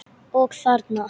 Og þarna?